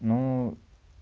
ну